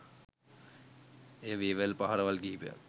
එය වේවැල් පහරවල් කිහිපයක්